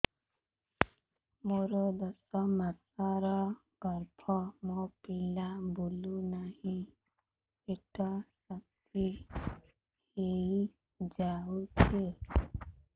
ମୋର ଦଶ ମାସର ଗର୍ଭ ମୋ ପିଲା ବୁଲୁ ନାହିଁ ପେଟ ଶକ୍ତ ହେଇଯାଉଛି